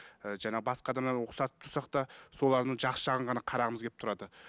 ііі жаңағы басқа адамнан ұқсатып тұрсақ та солардың жақсы жағын ғана қарағымыз келіп тұрады